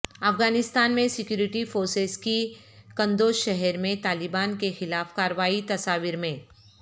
افغانستان میں security forces کی قندوز شہر میں طالبان کے خلاف کارروائی تصاویر میں